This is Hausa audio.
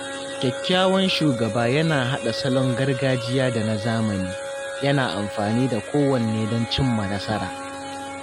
Kyakkyawan shugaba yana haɗa salon gargajiya da na zamani, yana amfani da kowanne don cimma nasara.